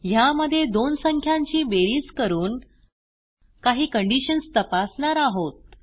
ह्यामध्ये दोन संख्यांची बेरीज करून काही कंडिशन्स तपासणार आहोत